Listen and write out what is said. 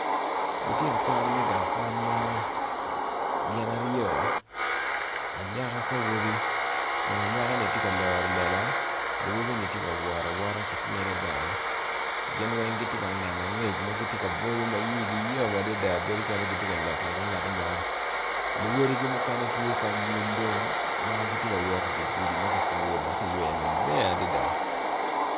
Lutino kwan me gang kwan mo gin aryo anyaka ki awobi kun anyaka ni tye ka loro lela awobi tye ka wot awota kityene ginweng gitye ka neno angec magitye ka bwonyo ma iyigi yom adada bedo calo gitye ka lok inge gingatimo luwodigi mukene tye ki anyim dong magitye kawot idigudi magiputo dok kiyweo maleng adada.